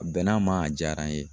A bɛn'a ma a diyara n ye.